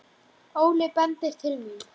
Óli bendir til mín.